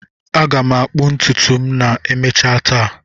Aga m akpuo ntutu m ma emechaa taa.